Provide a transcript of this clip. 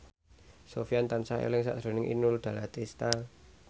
Sofyan tansah eling sakjroning Inul Daratista